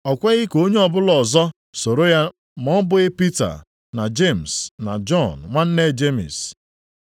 O kweghị ka onye ọbụla ọzọ soro ya ma ọ bụghị Pita, na Jemis na Jọn nwanne Jemis.